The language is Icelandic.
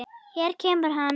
Hér kemur hann.